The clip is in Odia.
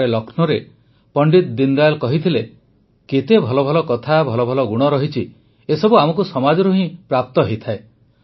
ଥରେ ଲକ୍ଷ୍ନୌରେ ପଣ୍ଡିତ ଦୀନଦୟାଲ କହିଥିଲେ କେତେ ଭଲ ଭଲ କଥା ଭଲ ଭଲ ଗୁଣ ଅଛି ଏସବୁ ଆମକୁ ସମାଜରୁ ହିଁ ତ ପ୍ରାପ୍ତ ହୋଇଥାଏ